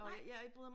Nej